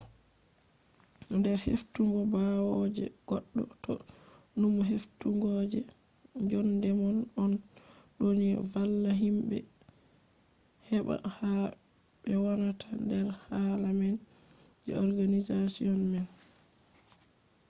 nder heftugo bawo je goddo ta numu heftugo je njondemom on do ni valla himbe heba ha be wonata nder hala nane je organization man